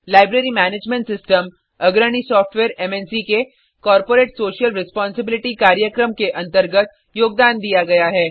library management system अग्रणी software मन्क के कॉर्पोरेट सोशल रेस्पोंसिबिलिटी कार्यक्रम के अंतर्गत योगदान दिया गया है